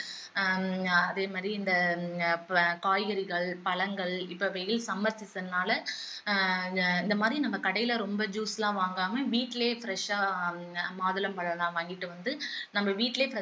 ஆஹ் அதே மாதிரி இந்த ஹம் காய்கறிகள் பழங்கள் இப்போ வெயில் summer season னால ஆஹ் இந்த மாதிரி நம்ம கடையில ரொம்ப juice லாம் வாங்காம வீட்டுலேயே fresh ஆ மாதுளம்பழம் எல்லாம் வாங்கிட்டு வந்து நம்ம வீட்டுலேயே